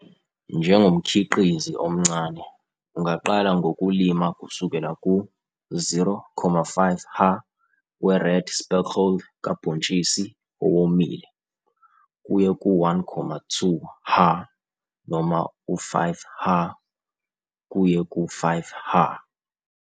Njengomkhiqizi omncane, ungaqala ngokulima kusukela ku-0,5 ha we-red speckled kabhontshisi owomile kuye ku-1,2 ha noma u-5 ha, kuye ku-5 ha.